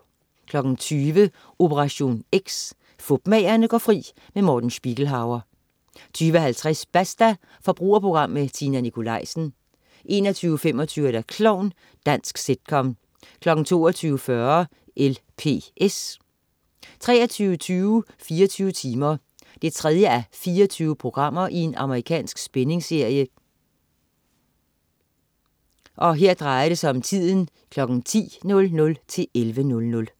20.00 Operation X: Fupmagerne går fri. Morten Spiegelhauer 20.50 Basta. Forbrugerprogram med Tina Nikolaisen 21.25 Klovn. Dansk sitcom 22.40 LPS 23.20 24 timer 3:24. Amerikansk spændingsserie. 10:00-11:00